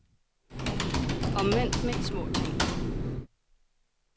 Omvendt med de små ting.